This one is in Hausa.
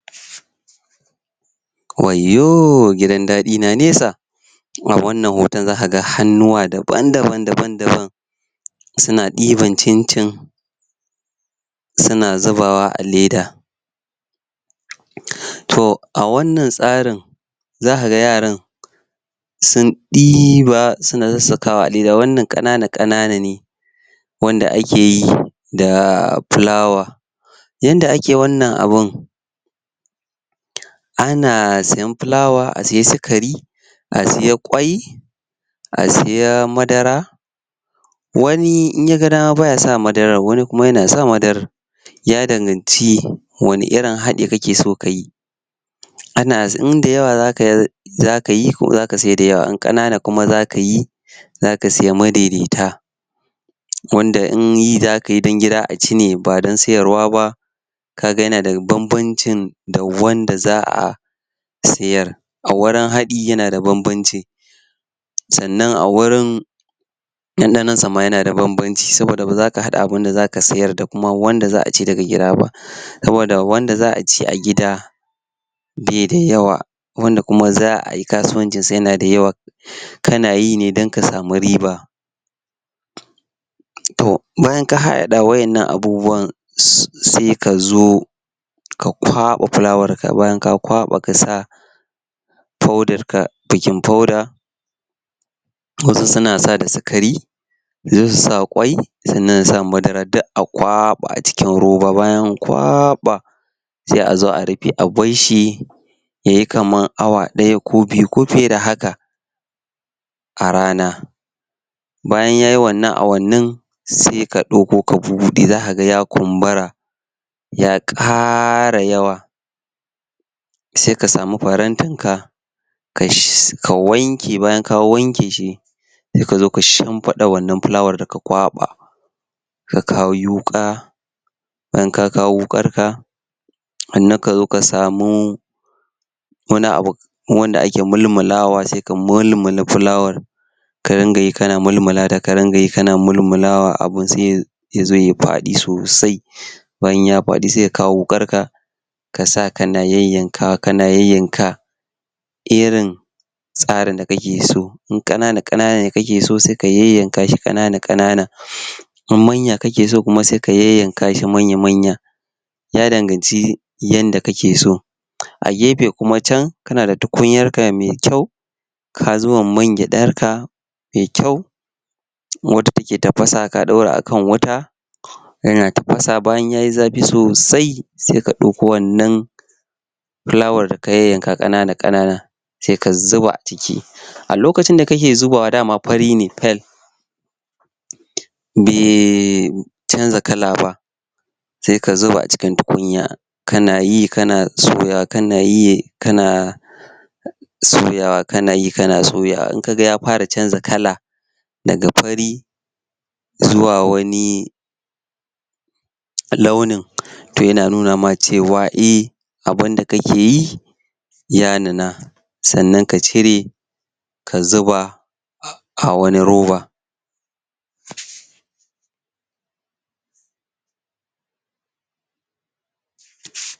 Wayyoo gidan dadi na nesa a wannan hoton zakaga hannuwa daban-daban daban-daban suna ɗiban cin-cin suna zubawa a leda toh a wannan tsarin zakaga yaran sun ɗiba suna sassakawa a leda wannan kanana kanana ne wanda akeyi da fulawa yanda ake wannan abun ana siyen fulawa a sayi sikari a siye kwai a siya madara wani in yaga dama baya sa madarar wani kuma yana sa madarar ya danganci wani irin haɗi kakeson kayi ana inda yawa zakayi zakayi ko zaka seda da yawa in kanana kuma zakayi zaka siya madaidaita wanda in yi zakayi don gida aci ba don sayarwa ba kaga yana da banbancin da wanda za'a sayar a wurin haɗi yana da banbanci sannan a wurin danɗanonsa ma yana da banbanci, saboda baza ka hada abinda zaka sayar da wanda za'a ci daga gida ba saboda wanda za'a ci a gida beda yawa wanda za'ayi kasuwancinsa yana da yawa um kana yi ne don ka sami riba toh bayan ka haɗaɗa wa innan abubuwa sse se kao ka kwaba fulawarka, bayan ka kwaba kasa hodaraka baking powder wasu suna sa da sikari se su sa kwai sannan su sa madara duk a kwaba a cikin roba, bayan an kwaɓa se azo a rufe a barshi yayi kamar awa ɗaya ko biyu ko fiye da haka a rana bayan yayi wannan awannin se ka dauko ka bubude zakaga ya kumbura ya ƙara yawa se ka sami farantinka ka wanke, bayan ka wankeshi sai kazo ka shinfiɗa wannan fulawar da ka kwaba ka kawo yuƙa bayan ka kawo wuƙarka sannan kazo ka samu wani abu wanda ake mulmulawa se ka mulmula fulawar ka ringa yi kana mulmulata, ka ringa yi kana mulmulawa a abun se yazo yayi fadi sosai bayan yayi faɗi se ka kawo wukarka kasa kana yayyanka, kana yayyanka irin tsarin da kake so in kanana kanana kakeso se ka yayyankashi kanana-kanana in manya kakeso kuma se ka yayyankashi manya-manya ya danganci yanda kake so a gefe kuma can kana da tukunyarka me kyau ka zuba mangyaɗarka me kyau wanda take tafasa ka dora a kan wuta yana tafasa, bayan tayi zafi sosai se ka ɗoko wannan fulawar da ka yayyanka kanana-kanana se ka zuba a ciki um a lokacin da kake zubawa dama fari ne tar um be canza kala ba se ka zuba a cikin tukunya kanayi kana soyawa kanayi kana um soyawa kana yi kana soyawa, in kaga ya fara canza kala daga fari zuwa wani launin to yana nuna ma cewa eh abinda kake yi ya nuna sannan ka cire ka zuba a a wani roba.